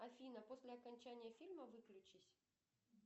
афина после окончания фильма выключись